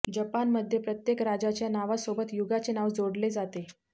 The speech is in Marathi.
जपानमध्ये प्रत्येक राजाच्या नावासोबत युगाचे नाव जोडले जाते